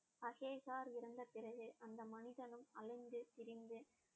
அஹேகார் இறந்த பிறகு அந்த மனிதனும் அலைந்து திரிந்து